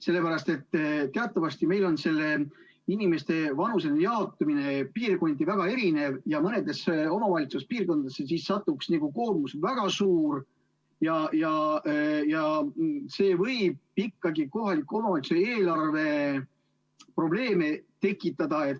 Sellepärast, et teatavasti meil on inimeste vanuseline jaotumine piirkonniti väga erinev ja mõnele omavalitsusele satuks siis väga suur koormus ja see võib ikkagi kohaliku omavalitsuse eelarves probleeme tekitada.